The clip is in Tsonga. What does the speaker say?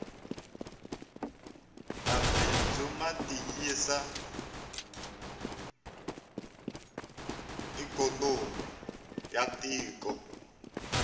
mabindzu matiyisa ikonomi yatiko